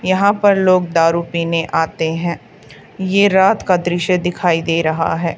यहां पर लोग दारु पीने आते हैं ये रात का दृश्य दिखाई दे रहा है।